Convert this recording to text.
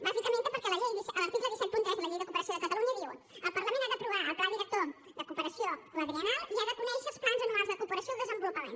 bàsicament perquè l’article cent i setanta tres de la llei de cooperació de catalunya diu el parlament ha d’aprovar el pla director de cooperació quadriennal i ha de conèixer els plans anuals de cooperació al desenvolupament